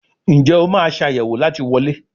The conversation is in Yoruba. Njé o ma Ṣàyẹ̀wò láti wọlé?